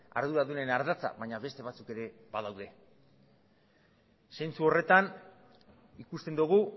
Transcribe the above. arduradunen ardatza baina beste batzuk ere badaude zentzu horretan ikusten dugu